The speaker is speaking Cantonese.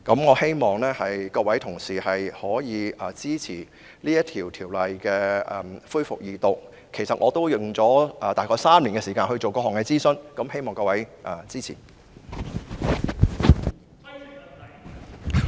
我希望各位同事支持《條例草案》恢復二讀，因為我合共花了大約3年時間進行各項諮詢，所以希望各位支持。